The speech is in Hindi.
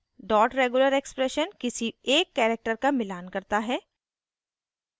dot regular expression किसी एक character का मिलान करता है